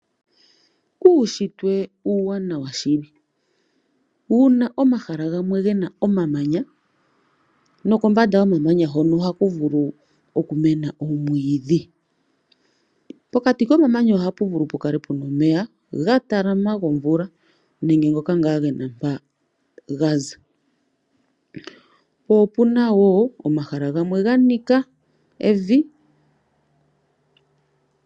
Uushitwe uuwanawa shili. Uuna omahala gena omamanya nokombanda yomamanya hono ohakuvulu okumena omwiidhi. Pokati komamanya ohapu vulu pu kale pena omeya ga talama gomvula nenge ngoka ngaa gena mpa gaza po opena woo omahala gamwe ga nika evi.